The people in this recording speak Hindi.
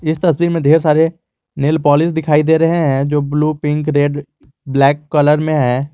इस तस्वीर में ढेर सारे नेल पॉलिश दिखाई दे रहे हैं जो blue pink red black colour में है।